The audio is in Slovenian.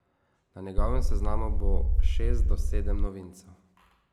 Na njegovem seznamu bo šest do sedem novincev.